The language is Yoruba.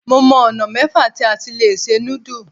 Mo mọ ọ̀nà mẹ́fà tí a ti lè se núdù.